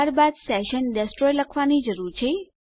ત્યારબાદ session destroy લખવાની જરૂર છે